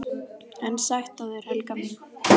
EN SÆTT AF ÞÉR, HELGA MÍN!